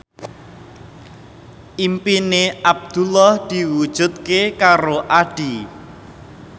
impine Abdullah diwujudke karo Addie